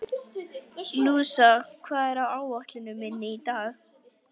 Louisa, hvað er á áætluninni minni í dag?